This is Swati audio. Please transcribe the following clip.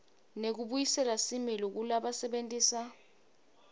nekubuyisela similo kulabasebentisa